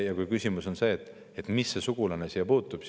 Võib-olla kellelgi on küsimus, mis see sugulane siia puutub.